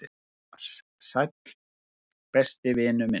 """Hann las: Sæll, besti vinur minn."""